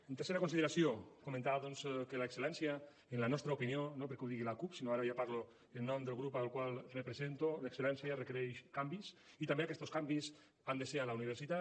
en tercera consideració comentar doncs que l’excel·lència en la nostra opinió no perquè ho digui l’acup sinó que ara ja parlo en nom del grup al qual represento requereix canvis i també aquestos canvis han de ser a la universitat